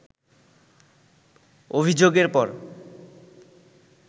অভিযোগের পর